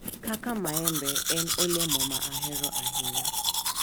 Kaka mango en olembe ma ahero ahinya,